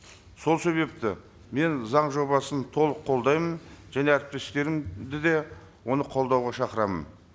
сол себепті мен заң жобасын толық қолдаймын және әріптестерімді де оны қолдауға шақырамын